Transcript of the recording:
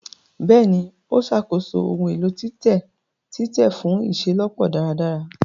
Bẹẹni, o ṣàkóso ohùn èlò titẹ titẹ fun iṣelọpọ dáradára